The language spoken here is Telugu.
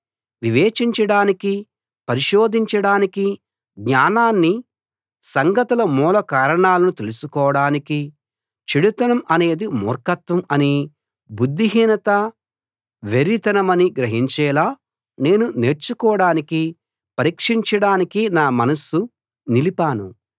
వివేచించడానికి పరిశోధించడానికి జ్ఞానాన్ని సంగతుల మూల కారణాలను తెలుసుకోడానికి చెడుతనం అనేది మూర్ఖత్వం అనీ బుద్ధిహీనత వెర్రితనమనీ గ్రహించేలా నేను నేర్చుకోడానికి పరీక్షించడానికి నా మనస్సు నిలిపాను